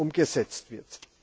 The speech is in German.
umgesetzt wird.